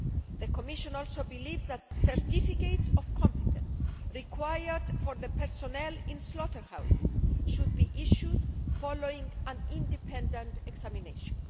The Commission also believes that certificates of competence required for the personnel in slaughterhouses should be issued following an independent examination.